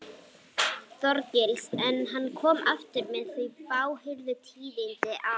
Þorgils, en hann kom aftur með þau fáheyrðu tíðindi að